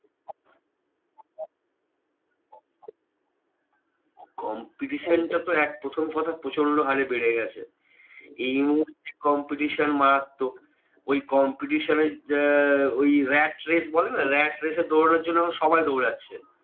Competition টা তো এক প্রথম কথা প্রচন্ড হারে বেড়ে গেছে। এইমুহূর্তে competition মারাত্মক। ওই competition এ আহ ওই rat race বলে না? rat race এর দৌড়েরানোর জন্য আমরা সবাই দৌড়াচ্ছে।